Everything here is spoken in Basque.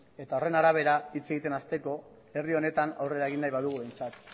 eta horren arabera hitz egiten hasteko herri honetan aurrera egin nahi badugu behintzat